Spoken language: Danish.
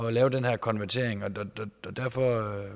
at lave den her konvertering og derfor